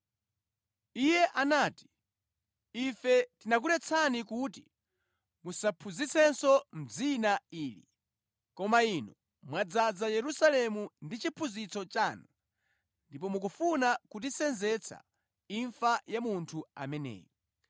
Iye anati, “Ife tinakuletsani kuti musaphunzitsenso mʼdzina ili, koma inu mwadzaza Yerusalemu ndi chiphunzitso chanu, ndipo mukufuna kutisenzetsa imfa ya munthu ameneyu.”